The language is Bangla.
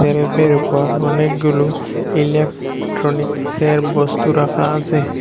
ওপর অনেকগুলো ইলেকট্রনিক্সের বস্তু রাখা আছে।